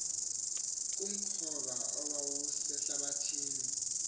kumkhoba owawusehlathi ni